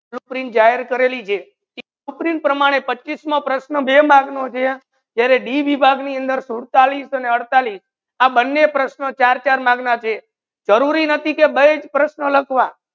supreme જયાર કરીલી છે સુપ્રીમ પ્રમાને પચ્ચીસમુ નો પ્રશ્ન બે mark નો જે ત્યારે દી વિભાગ ની અંદર સુડતાલીસ, અડતાલીસ આ બને પ્રશ્નો ચાર ચાર mark છે જરુરી નાથી કે બે પ્રશ્ન લખવા